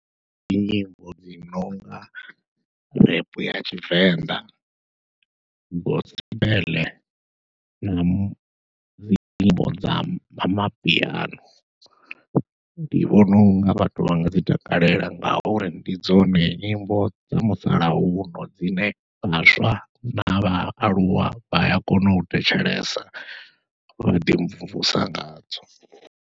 Dzinyimbo dzi nonga rap ya tshivenḓa, gospel nadzi nyimbo dza mapiano, ndi vhona unga vhathu vha nga dzi takalela ngauri ndi dzone nyimbo dza musalauno dzine vhaswa na vhaaluwa vha a kona u thetshelesa vha ḓi mvumvusa ngadzo.